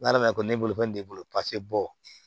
N'ala ma ko ne bolo ko nin b'i bolo bɔ